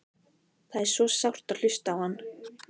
Það er svo sárt að hlusta á hann.